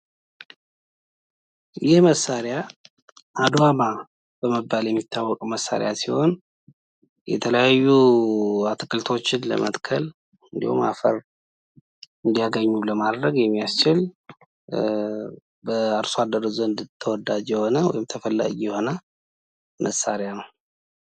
ይህ መሳሪያ አዷማ በመባል የሚታወቅ መሳሪያ ሲሆን የተለያዩ አትክልቶችን ለመትከል ፤እንዲሁም አፈር እንዲያገኙ ለማድረግ የሚያስችል በአርሶ አደር ዘንድ ተወዳጅ የሆነ ወይም ተፈላጊ የሆነ መሳሪያ ነው።